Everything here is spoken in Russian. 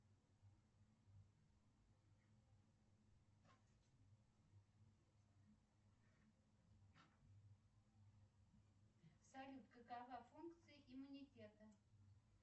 салют какова функция иммунитета